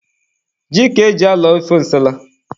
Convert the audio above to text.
Ji ka e ji alọ ofe nsala.